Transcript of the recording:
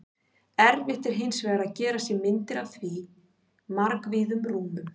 Erfitt er hins vegar að gera sér myndir af svo margvíðum rúmum.